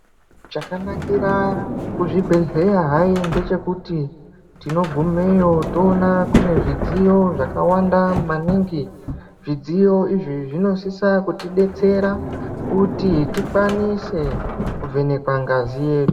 Chanakira kuzvibhedhleya hai ndechekuti tinogumeyo toona kune zvidziyo zvakawanda maningi. Zvidziyo izvi zvinosisa kutibetsera kuti tikwanise kuvhenekwa ngazi yedu.